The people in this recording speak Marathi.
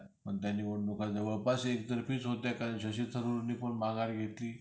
पण त्या निवडणुका जवळपास एकतर्फीच होत्या कारण की शशी थरूर ने पण माघार घेतली.